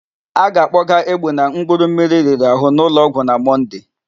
A ga-akpọgaa Egbuna mkpụrụmmiri riri àhụ́ n'ụlọọgwụ na Monday.